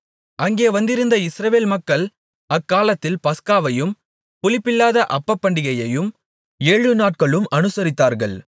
அங்கே வந்திருந்த இஸ்ரவேல் மக்கள் அக்காலத்தில் பஸ்காவையும் புளிப்பில்லாத அப்பப்பண்டிகையையும் ஏழு நாட்களும் அனுசரித்தார்கள்